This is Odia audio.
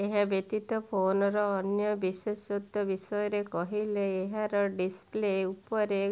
ଏହାବ୍ୟତୀତ ଫୋନର ଅନ୍ୟ ବିଶେଷତ୍ୱ ବିଷୟରେ କହିଲେ ଏହାର ଡିସପ୍ଲେ ଉପରେ